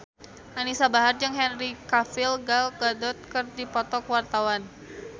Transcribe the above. Anisa Bahar jeung Henry Cavill Gal Gadot keur dipoto ku wartawan